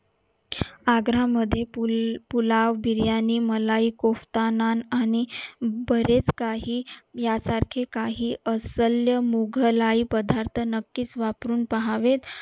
आग्रा मध्ये pulao biryani malai kofta nand आणि बरेच काही यासारखे काही असल्य मोघलाही पद्धत नक्कीच वापरून पाहावे